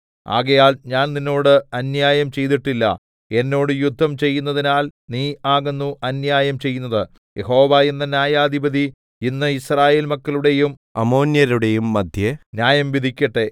ആകയാൽ ഞാൻ നിന്നോട് അന്യായം ചെയ്തിട്ടില്ല എന്നോട് യുദ്ധം ചെയ്യുന്നതിനാൽ നീ ആകുന്നു അന്യായം ചെയ്യുന്നത് യഹോവ എന്ന ന്യായാധിപതി ഇന്ന് യിസ്രായേൽ മക്കളുടെയും അമ്മോന്യരുടെയും മദ്ധ്യേ ന്യായം വിധിക്കട്ടെ